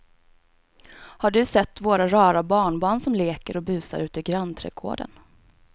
Har du sett våra rara barnbarn som leker och busar ute i grannträdgården!